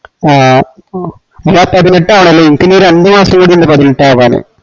ആ പതിനെട്ട് ആവണല്ലേ ഇൻക്ക് ഇനി രണ്ട് മാസംകൂടിയിൻഡ് പതിനെട്ടാവാനെ